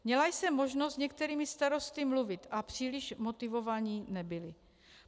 Měla jsem možnost s některými starosty mluvit a příliš motivovaní nebyli.